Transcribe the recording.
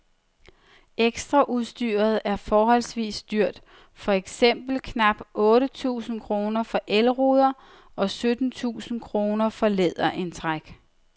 Ekstraudstyret er forholdsvis dyrt, for eksempel knap otte tusind kroner for elruder og sytten tusind kroner for læderindtræk.